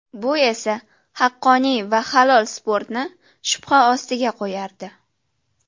Bu esa haqqoniy va halol sportni shubha ostiga qo‘yardi.